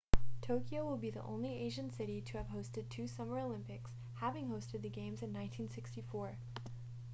tokyo will be the only asian city to have hosted two summer olympics having hosted the games in 1964